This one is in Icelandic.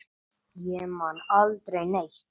Ég man aldrei neitt.